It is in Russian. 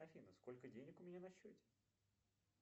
афина сколько денег у меня на счете